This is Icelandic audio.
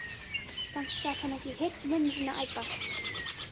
Samt gat hann heyrt mömmu sína æpa.